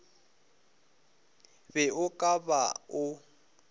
be o ka ba o